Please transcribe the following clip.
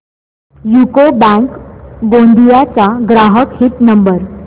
UCO bank Gondia चा ग्राहक हित नंबर